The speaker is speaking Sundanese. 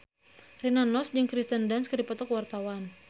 Rina Nose jeung Kirsten Dunst keur dipoto ku wartawan